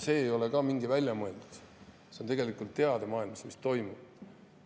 See ei ole sugugi välja mõeldud, tegelikult on teada, mis maailmas toimub.